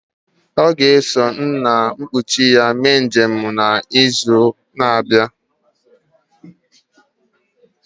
Ọ ga-eso nna nkuchi ya mee njem n'izu na-abịa